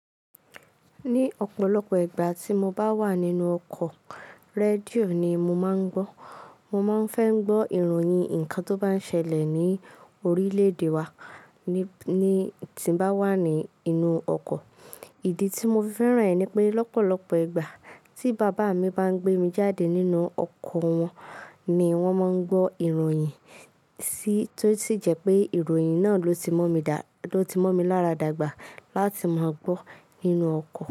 Ní ọ̀pọ̀lọpọ̀ ìgbà tí mo bá wà nínú ọkọ̀, rédíò ni mo máa ń gbọ́. Mo máa ń fẹ́ ń gbọ́ ìròyìn ǹkan tó bá ń ṣẹlẹ̀ ní orílẹ̀-èdè wa ní tí bá wà ní inú ọkọ̀. Ìdí tí mo fẹ́ràn rẹ̀ ni pé lọ́pọ̀lọpọ̀ ìgbà tí bàbá mi bá ń gbé mi jáde nínú ọkọ̀ wọn ni wọ́n máa ń gbọ́ ìròyìn, tí ó sì jẹ́ pé ìròyìn náà ló ti mọ́ mi dá-- ló ti mọ́ mi lára dàgbà láti máa gbọ́ nínú ọkọ̀